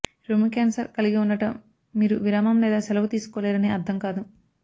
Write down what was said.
రొమ్ము క్యాన్సర్ కలిగి ఉండటం మీరు విరామం లేదా సెలవు తీసుకోలేరని అర్థం కాదు